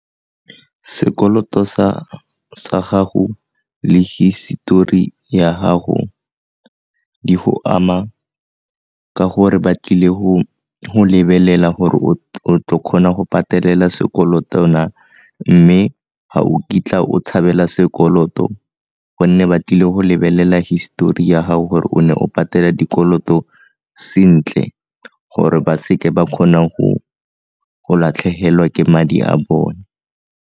Sekoloto sa gago le hisetori ya gago di go ama ka gore ba tlile go lebelela gore o tlo kgona go patelela sekoloto na, mme ga o kitla o tshabela sekoloto gonne ba tlile go lebelela histori ya gago gore o ne o patela dikoloto sentle gore ba se ke ba kgona go latlhegelwa ke madi a bone.